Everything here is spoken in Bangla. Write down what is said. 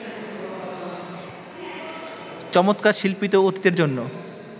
চমৎকার শিল্পিত অতীতের জন্য